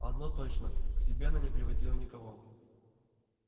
одно точно к себе она не приводила никого